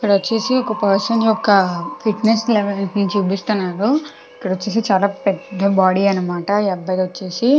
ఇక్కడ వచ్చేసి ఒక పర్సన్ యొక్క ఫిట్నెస్ లెవెల్స్ చూపిస్తున్నారు ఇక్కడ వచ్చేసి చాలా పెద్ద బాడీ అన్నమాట ఈ అబ్బాయిది వచ్చేసి.